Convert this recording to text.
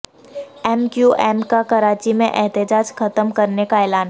M Q M کا کراچی میں احتجاج ختم کرنے کا اعلان